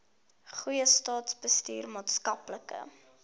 goeie staatsbestuur maatskaplike